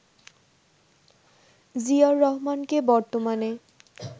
জিয়াউর রহমানকে বর্তমানে